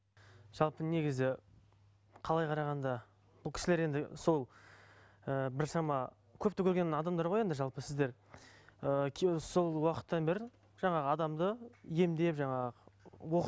жалпы негізі қалай қарағанда бұл кісілер енді сол ііі бір шама көпті көрген адамдар ғой енді жалпы сіздер ыыы сол уақыттан бері жаңағы адамды емдеп жаңағы